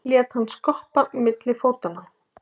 Lét hann skoppa milli fótanna.